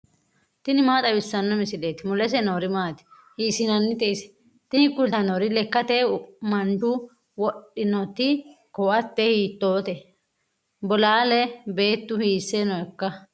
tini maa xawissanno misileeti ? mulese noori maati ? hiissinannite ise ? tini kultannori lekkate manchu wodhinoti koate hiittoote bolaale beettu hiisse nooikka